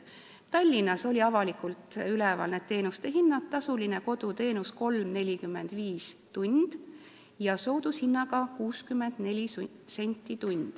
Tallinnas olid avalikult üleval koduteenuste hinnad: tasulise koduteenuse tund maksab 3.45, soodushinnaga maksab tund 64 senti.